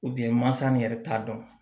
mansa min yɛrɛ t'a dɔn